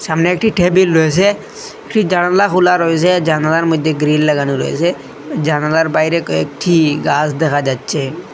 সামনে একটি টেবিল রয়েছে একটি জানলা খোলা রয়েছে জানালার মইধ্যে গ্রীল লাগানো রয়েসে জানালার বাইরে কয়েকটি গাছ দেখা যাচ্ছে।